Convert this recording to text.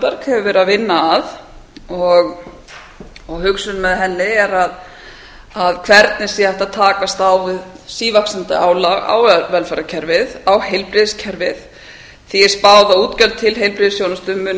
hefur verið að vinna að hugsunin með henni er að hvernig sé hægt að takast á við sívaxandi álag á velferðarkerfið á heilbrigðiskerfið því er spáð að útgjöld til heilbrigðisþjónustu munu